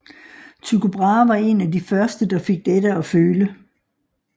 Tycho Brahe var en af de første der fik dette at føle